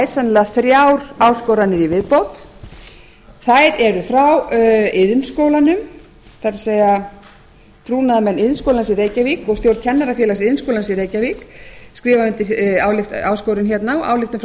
sennilega þrjár áskoranir í viðbót þær eru frá iðnskólanum það er trúnaðarmenn iðnskólans í reykjavík og stjórn kennarafélags iðnskólans í reykjavík skrifar undir áskorun hérna og svo ályktun frá